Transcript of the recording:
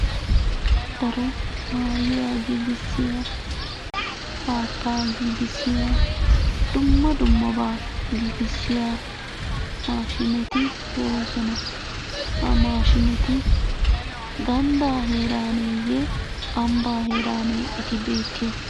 Daro maayuwa giggisiya, haattaa giggisiya dumma dummaba giggisiya mashshineti de'oosona. Ha maashshineti ganddaa heeraaneye ambbaa heeranne eti beettiyoy?